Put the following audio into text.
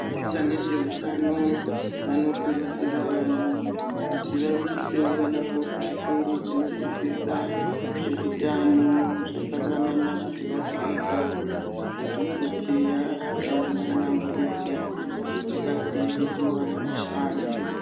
Vanoita nezvehutano vanokurudzirwa vanhu vanoita nezvehutano kzuzvikoro zvinodzidzisa zvehutano vanowanaba kuti vazoitawo kuti vazodsnana nana mukoti kuti vazowwna vashandi.